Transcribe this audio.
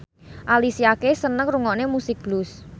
Alicia Keys seneng ngrungokne musik blues